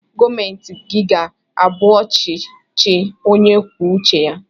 Gọọmeti gi ga abu ọchi chi onye kwụọ uche ya!!